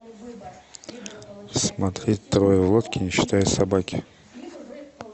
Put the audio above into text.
смотреть трое в лодке не считая собаки